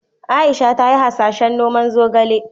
Aisha ta yi hasashen noman zogale.